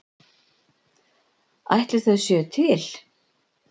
Ætli þau séu til?